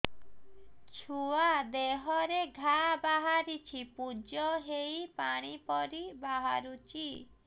ଛୁଆ ଦେହରେ ଘା ବାହାରିଛି ପୁଜ ହେଇ ପାଣି ପରି ବାହାରୁଚି